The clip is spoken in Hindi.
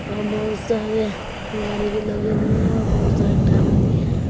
और बहुत सारे गाड़ी भी लगे हुए हैं और बहुत सारे टावर भी हैं।